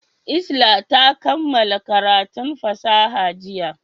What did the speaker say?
Isla ta kammala karatun fasaha jiya.